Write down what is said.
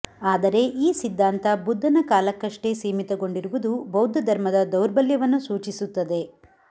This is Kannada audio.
ಆದರೆ ಈ ಸಿದ್ಧಾಂತ ಬುದ್ಧನ ಕಾಲಕೃಷ್ಟೇ ಸೀಮಿತಗೊಂಡಿರುವುದು ಬೌದ್ಧಧರ್ಮದ ದೌರ್ಬಲ್ಯವನ್ನು ಸೂಚಿಸುತ್ತದೆ